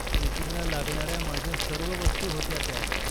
ट्रेकिंगला लागणाऱ्या माझ्या सर्व वस्तू होत्या त्यात.